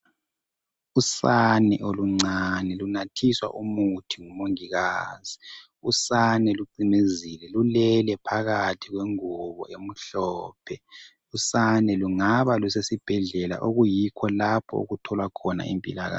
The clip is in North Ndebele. Usane oluncane lunathiswa umuthi ngumongikazi, usane lucimezile lulele phakathi kwengubo emhlophe, usane lungaba lusesibhedlela okuyikho lapho okutholwa khona impilakahle.